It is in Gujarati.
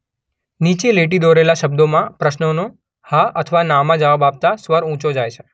નીચે લીટી દોરેલા શબ્દોમાં પ્રશ્નોનાે હા અથવા ના માં જવાબ આપતાં સ્વર ઊંચો જાય છે.